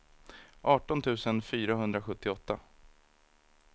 arton tusen fyrahundrasjuttioåtta